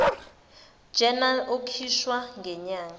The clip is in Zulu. journal ekhishwa nyanga